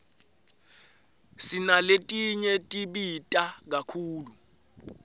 sinaletinye tibita kakhulu